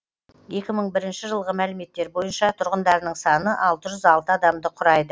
екі мың бірінші жылғы мәліметтер бойынша тұрғындарының саны алты жүз алты адамды құрайды